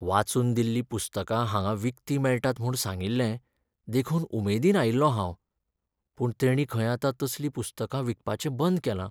वाचून दिल्लीं पुस्तकां हांगां विकतीं मेळटात म्हूण सांगिल्लें देखून उमेदीन आयिल्लों हांव. पूण तेणीं खंय आतां तसलीं पुस्तकां विकपाचें बंद केलां.